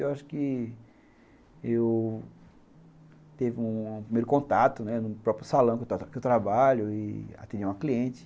Eu acho que eu tive um primeiro contato, né, no próprio salão que eu trabalho e atendia uma cliente.